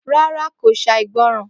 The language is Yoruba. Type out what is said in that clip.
Rárá kò gbọ́ràn